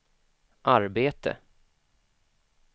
arbete